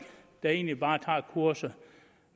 der egentlig bare tager kurser